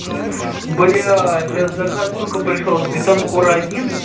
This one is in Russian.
бля сейчас заказ сука пришёл с бетанкура один